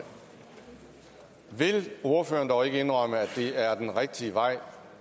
vil ordføreren dog ikke indrømme at det er den rigtige vej